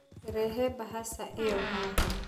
Rehe mbahaca ĩyo haha.